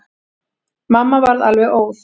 Mamma varð alveg óð.